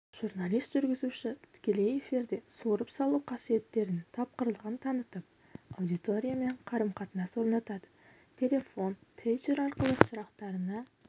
журналист-жүргізуші тікелей эфирде суырып салу қасиеттерін тапқырлығын танытып аудиториямен қарым-қатынас орнатады телефон пейджер арқылы сұрақтарына